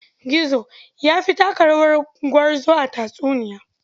Gizo ya fi taka rawar gwarzo a tatsuniya.